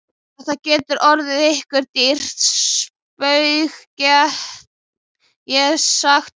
Þetta getur orðið ykkur dýrt spaug, get ég sagt ykkur!